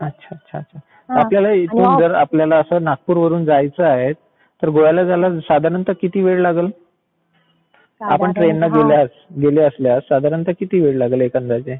अच्छा अच्छा आपल्याला इथून जर आपल्याला असं नागपूर वरून जायचं आहे तर गोव्याला जायला साधारणता किती वेळ लागलं? आपण ट्रेन ने गेल्यास गेले असल्यास साधारणता किती वेळ लागेल एक अंदाजे?